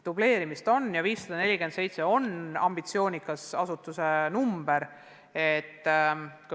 Dubleerimist on ja 547 on ambitsioonikas number.